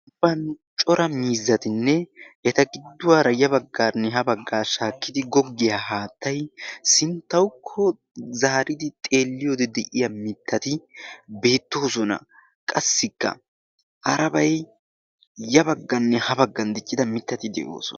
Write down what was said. Ambba cora miizzatinne eta gidduwaara ya bagganne ha baga shaakkidi googiyaa haattay sinttawukko zaaridi xeeliyoode de'iyaa mittati beettoosona. qassi ya bgganne ha baggan diccida mittati beettoosona